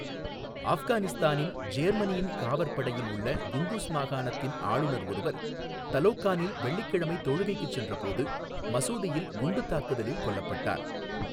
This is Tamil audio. ஆஃப்கானிஸ்தானின் ஜேர்மனியின் காவற்படையில் உள்ள குண்டூஸ் மாகாணத்தின் ஆளுநர் ஒருவர் தலோகானில் வெள்ளிக்கிழமை தொழுகைக்கு சென்றபோது மசூதியில் குண்டுத் தாக்குதலில் கொல்லப்பட்டார்.